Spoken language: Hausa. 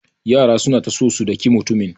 Yaran suna ta so su daki mutumin.